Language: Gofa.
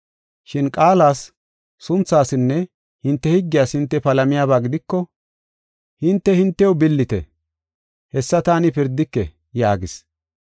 Shin qaalas, sunthasinne hinte higgiyas hinte palamiyaba gidiko hinte, hintew billite; hessa taani pirdike” yaagis.